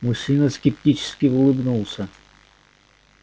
мужчина скептически улыбнулся